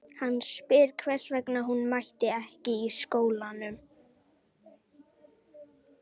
Hann spyr hvers vegna hún mæti ekki í skólanum.